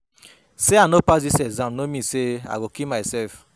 Sey I no pass dis exam no mean sey sey I go kill mysef.